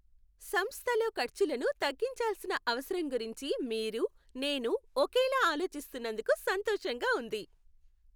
సంస్థలో ఖర్చులను తగ్గించాల్సిన అవసరం గురించి మీరు, నేను ఒకేలా ఆలోచిస్తున్నందుకు సంతోషంగా ఉంది.